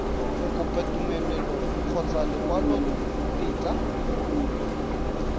go kopa tumelelo kgotsa lekwalotetla